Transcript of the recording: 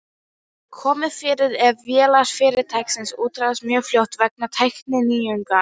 komið fyrir ef vélar fyrirtækis úreltast mjög fljótt vegna tækninýjunga.